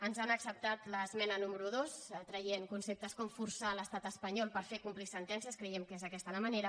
ens han acceptat l’esmena número dos que treu concep·tes com forçar l’estat espanyol per fer complir sen·tències creiem que és aquesta la manera